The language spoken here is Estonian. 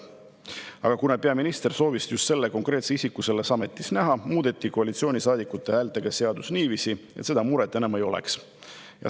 Aga kuna peaminister soovis just seda konkreetset isikut selles ametis näha, muudeti seadust koalitsioonisaadikute häältega niiviisi, et seda muret enam ei oleks.